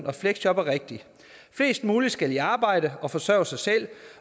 og fleksjob er rigtig flest muligt skal i arbejde og forsørge sig selv